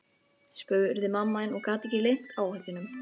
spurði mamma þín og gat ekki leynt áhyggjunum.